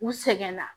U sɛgɛnna